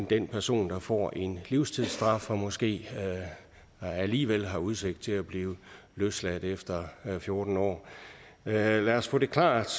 den person der får en livstidsstraf og måske alligevel har udsigt til at blive løsladt efter fjorten år lad os få det klart